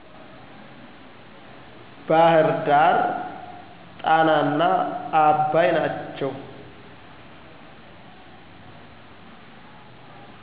ባህርዳር ጣናና አባይ ናቸው።